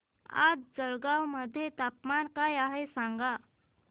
आज जळगाव मध्ये तापमान काय आहे सांगा